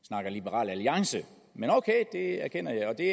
snakker liberal alliance men ok det erkender jeg og det